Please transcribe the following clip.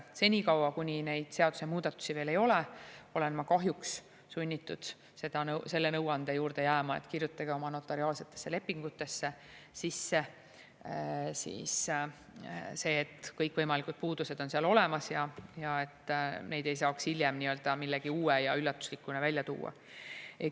Senikaua, kuni neid seadusemuudatusi veel ei ole, olen ma kahjuks sunnitud selle nõuande juurde jääma, et kirjutage oma notariaalsetesse lepingutesse sisse see, et kõikvõimalikud puudused on seal olemas, et neid ei saaks hiljem millegi uue ja üllatuslikuna välja tuua.